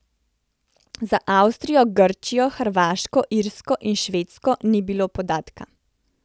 Za Avstrijo, Grčijo, Hrvaško, Irsko in Švedsko ni bilo podatka.